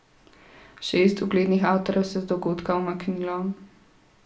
Šest uglednih avtorjev se je z dogodka umaknilo.